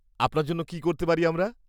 আপনার জন্য কী করতে পারি আমরা?